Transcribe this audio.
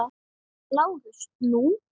LÁRUS: Nú?